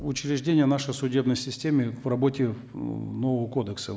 учреждения нашей судебной системы к работе э нового кодекса